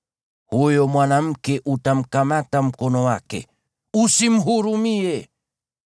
huyo mwanamke utamkata mkono wake. Usimhurumie.